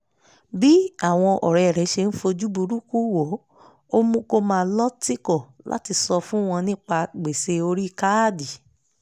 bí àwọn ọ̀rẹ́ rẹ̀ ṣe ń fojú burúkú wò ó mú kó máa lọ́ tìkọ̀ láti sọ fún wọn nípa gbèsè orí káàdì